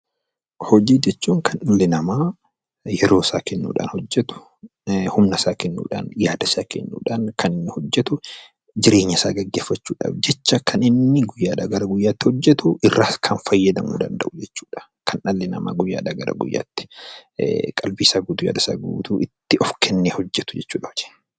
Hojii jechuun kan dhalli namaa yeroo isaa kennuun hojjetu, humna isaa kennuudhaan, yaada isaa kennuudhaan kan hojjetu, jireenya isaa gaggeeffachuuf jecha kan inni guyyaadhaa gara guyyaatti hojjetu kan fayyadamuu danda'u jechuudha. Kan dhalli namaa guyyaadhaa gara guyyaatti qalbii isaa guutuudhaan, yaada isaa guutuu itti of kennee hojjetu jechuudha hojiin.